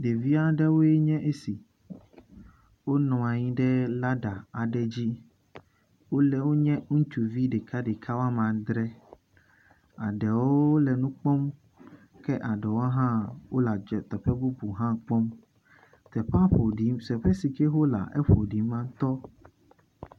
Ɖevia ɖewoe nye esi. Wonɔ anyi ɖe ladder aɖe dzi. Wole wonye ŋutsuvi ɖekaɖeka woame adre. Aɖewo le nu kpɔm. Ke aɖewo hã wole adz teƒe bubu hã kpɔm. Teƒea ƒo ɖi, teƒe si ke wolea eƒo ɖi ŋutɔ.